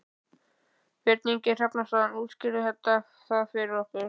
Björn Ingi Hrafnsson: Útskýrðu það fyrir okkur?